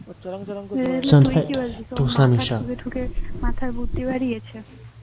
তুই কি বলছিস ও মাথা থেকে মাথা বুদ্ধি বাড়িয়েছে